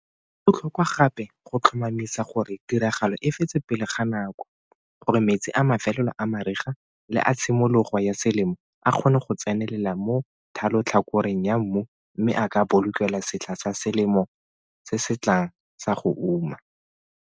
Go botlhokwa gape go tlhomamisa gore tiragalo e fetswe pele ga nako gore metsi a mafelelo a mariga le a tshimologo ya selemo a kgone go tsenelela mo thalotlhakoreng ya mmu mme a ka bolokelwa setlha sa selemo se se tlang sa go uma.